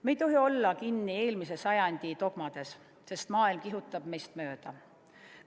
Me ei tohi olla kinni eelmise sajandi dogmades, sest maailm kihutab meist mööda.